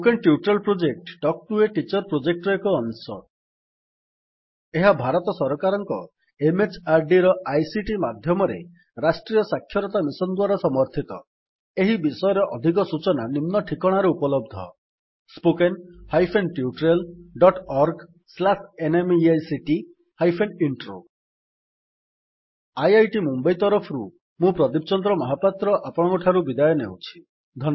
spoken tutorial project talk to a teacher project ର ଏକ ଅଂଶ More information on this mission is available at ଏହି ବିଷୟରେ ଅଧିକ ସୂଚନା ନିମ୍ନ ଠିକଣାରେ ଉପଲବ୍ଧ spoken hyphen tutorial dot org slash NMEICT hyphen intro IIT Mumbai ତରଫରୁ ମୁଁ ପ୍ରଦୀପ ଚନ୍ଦ୍ର ମହାପାତ୍ର ଆପଣଙ୍କଠାରୁ ବିଦାୟ ନେଉଛି